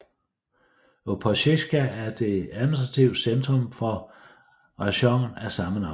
Opotsjka er det administrative centrum for rajonen af samme navn